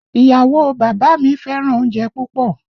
Ìyàwó o bàbá mi fẹ́ràn oúnjẹ púpọ̀